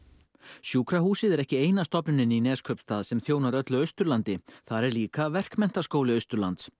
sjúkrahúsið er ekki eina stofnunin í Neskaupstað sem þjónar öllu Austurlandi þar er líka Verkmenntaskóli Austurlands